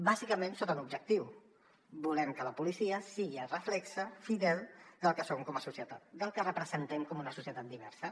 bàsicament d’acord amb un objectiu volem que la policia sigui el reflex fidel del que som com a societat del que representem com una societat diversa